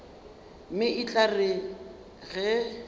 mme e tla re ge